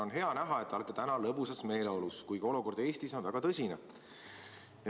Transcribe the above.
On hea näha, et te olete täna lõbusas meeleolus, kuigi olukord Eestis on väga tõsine.